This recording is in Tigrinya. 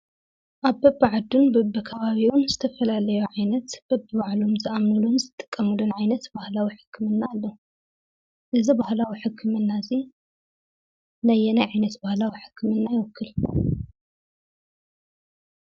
ኣብ በቢዓዱን በቢከባቢኡን ዝተፈላለዩ ዓይነት በቢባህሎም ዝኣምኑሎም ዝጥቀሙሎም ዓይነት ባህላዊ ሕክምና ኣለዉ። እዚ ባህላዊ ሕክምና እዚ ነየናይ ዓይነት ባህላዊ ሕክምና ይዉክል?